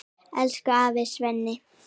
Elsku afi Svenni.